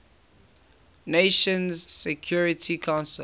nations security council